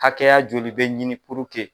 Hakɛya joli be ɲini puruke